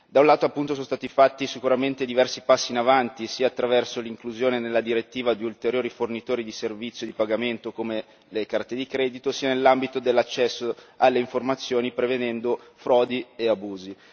Da un lato appunto sono stati fatti sicuramente diversi passi in avanti sia attraverso l'inclusione nella direttiva di ulteriori fornitori di servizi di pagamento come le carte di credito, sia nell'ambito dell'accesso alle informazioni prevedendo frodi e abusi.